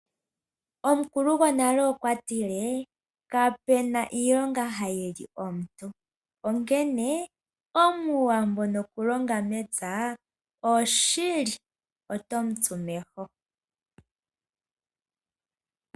Omukulu gwonale okwatile " kapena iilonga ha yi li omuntu" onkene omuwambo nokulonga mepya otomutsu meho.